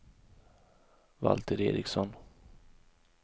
Valter Ericsson